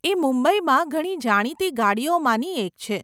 એ મુંબઈમાં ઘણી જાણીતી ગાડીઓમાંની એક છે.